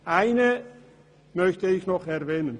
Eines möchte ich noch erwähnen: